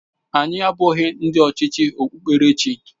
Anyị abụghị ndị ọchịchị okpukperechi.